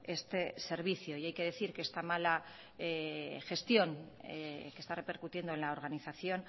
este servicio y hay que decir que esta mala gestión que está repercutiendo en la organización